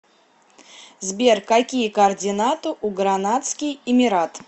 сбер какие координаты у гранадский эмират